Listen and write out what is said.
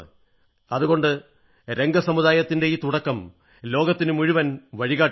അതുകൊണ്ട് രംഗ സമുദായത്തിന്റെ ഈ തുടക്കം ലോകത്തിനു മുഴുവൻ വഴികാട്ടിയാണ്